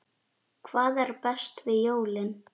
Hvað er best við jólin?